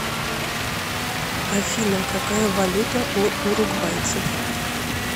афина какая валюта у уругвайцев